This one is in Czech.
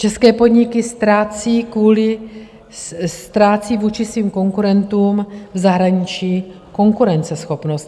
České podniky ztrácí vůči svým konkurentům v zahraničí konkurenceschopnost.